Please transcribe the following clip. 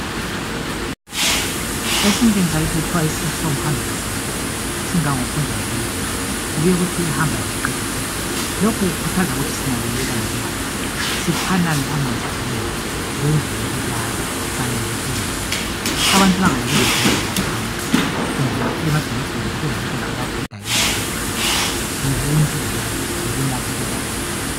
Esintwini sakithi kuthiwa isisu somhambi asinganani singangophonjwana lwembuzi kube kuthiwa ehambayo kayiqedi utshani. Lokhu kukuthaza ukuthi sinakekelane njengabantu. Siphanane amanzi okunatha lendlu yokulala khanye lokudla. Abantu bengalali bedliwa ngamakhanka kumbe emadolobheni kube labantwana ababhodayo bengela makhaya. Yibuntu lobu. Yikunakekelana